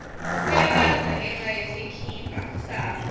kuyabandza ngenca yesikibha sani